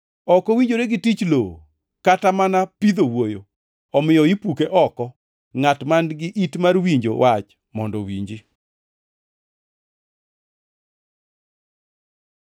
Ok owinjore ne tich lowo kata mana pidh owuoyo, omiyo ipuke oko. “Ngʼat man-gi it mar winjo wach mondo owinji.”